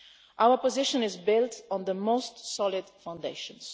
Our position is built on the most solid foundations.